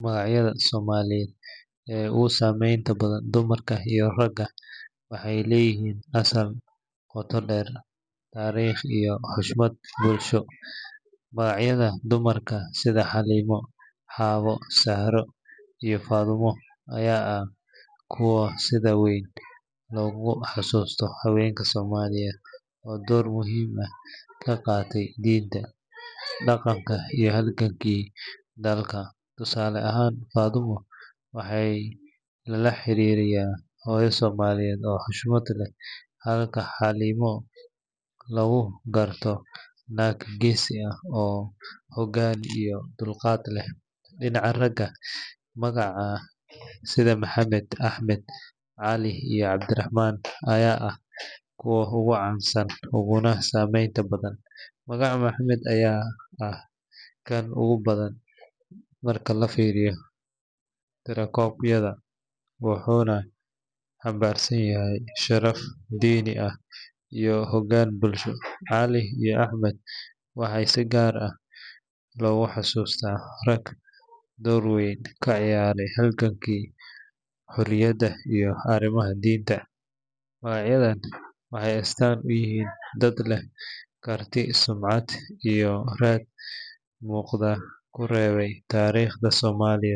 Magacyada somaliyed ee ogusameynta badan raga iyo dumarka waxay leyixiin asal gotaa deer tarig iyo hushmad bulsho, magacyada dumarka sida halimo hawo ama zahro fadimo aya ah kuwa sidha weyn loguhasusto hawenka somaliyed oo door muxiim ah kagatey dinta, daqanka iyo dalka tusale ahan fadumo waxay lalahaririya hoyo somaliyed oo husmad leh halka hawo lagugartonag gesi ah iyo dulgat leh, dinaca raga magaca sidha mohamed ahmed ali iyo Abdirahman aya ah kuwa ogucansan oguna sameynta badan, mohamed aya ah kan ogubadan marka lafiriyo tirakobyada wuxuna canbarsanyahay laf dini ah iyo hogan bulsho ali iyo ahmed waxay si gaar ah loguhasusto tag door weyn kcoyaray halganki horiyad iyo gimaha dinta, magacyadan waxay astaan uyixii dad leh karti iyo sumcat mugda kurebay tarigta somaliyed.